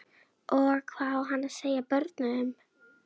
Og hvað á hann að segja börnunum?